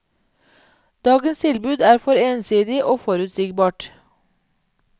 Dagens tilbud er for ensidig og forutsigbart.